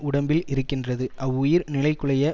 உடம்பில் இருக்கின்றது அவ்வுயிர் நிலைகுலைய